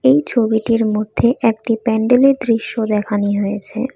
এই ছবিটির মধ্যে একটি প্যান্ডেলের দৃশ্য দেখানি হয়েছে।